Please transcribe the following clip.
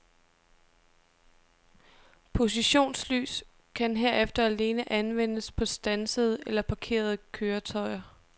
Positionslys kan herefter alene anvendes på standsede eller parkerede køretøjer.